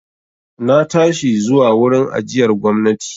Na tashi zuwa wurin ajiyar gwamnati.